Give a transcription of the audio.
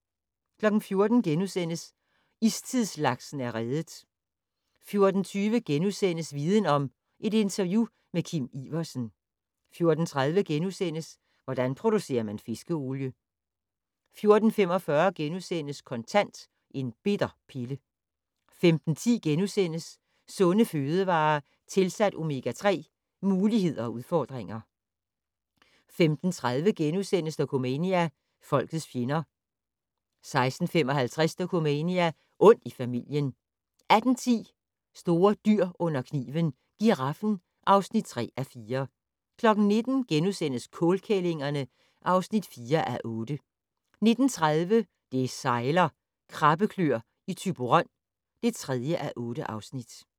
14:00: Istidslaksen er reddet * 14:20: Viden Om - interview med Kim Iversen * 14:30: Hvordan producerer man fiskeolie? * 14:45: Kontant: En bitter pille * 15:10: Sunde fødevarer tilsat omega-3 - Muligheder og udfordringer * 15:30: Dokumania: Folkets fjender * 16:55: Dokumania: Ondt i familien 18:10: Store dyr under kniven: Giraffen (3:4) 19:00: Kålkællingerne (4:8)* 19:30: Det sejler - Krabbeklør i Thyborøn (3:8)